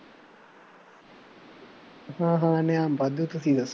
ਹਾਂ ਹਾਂ ਇਨਾਮ ਵਾਧੂ ਤੁਸੀਂ ਦੱਸੋ